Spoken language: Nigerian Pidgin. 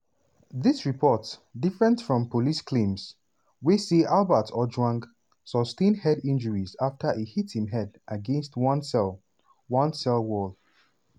dis report different from police claims wey say albert ojwang "sustain head injuries afta e hit im head against one cell one cell wall".